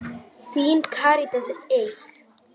Þín, Karítas Eik.